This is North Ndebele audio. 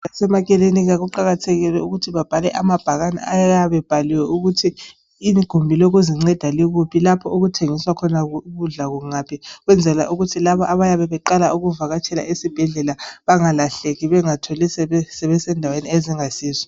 Abasemakilinika kuqakathekile ukuthi bebhale amabhakane ayabe ebhaliwe ukuba igumbi lokuzinceda lalapho okuthengiswa khona ukudla kungaphi ukwenzela ukuthi labo abayabe beqala ukubuya ekilinika bangalahleki bazithole sebesendaweni ezingayisizo.